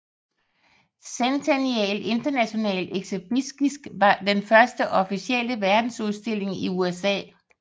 Centennial International Exhibition var den første officielle verdensudstilling i USA